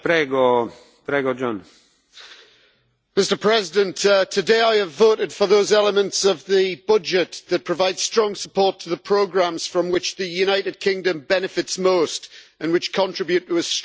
Mr President, today I have voted for those elements of the budget that provide strong support to the programmes, from which the United Kingdom benefits most and which contribute to a strong, sustainable and stable Europe.